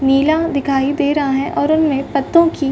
नीला दिखाई दे रहा है और उनमें पत्तों की --